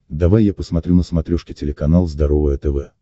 давай я посмотрю на смотрешке телеканал здоровое тв